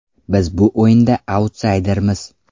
Biz bu o‘yinda autsaydermiz.